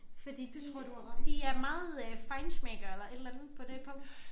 Fordi de de er meget øh feinschmeckere eller et eller andet på det punkt